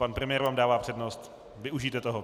Pan premiér vám dává přednost, využijte toho.